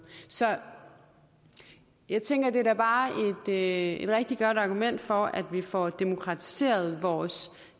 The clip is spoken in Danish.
så jeg tænker at det da bare er et rigtig godt argument for at vi får demokratiseret vores